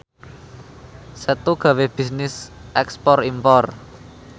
Setu gawe bisnis ekspor impor